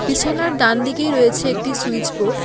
বিছানার ডানদিগেই রয়েছে একটি সুইচ বোর্ড ।